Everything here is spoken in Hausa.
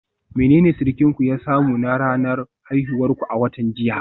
Menene surukinku ya samu na ranar haihuwar ku a watan jiya?